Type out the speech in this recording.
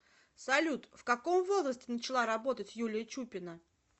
салют в каком возрасте начала работать юлия чупина